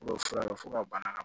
fura fo ka bana ka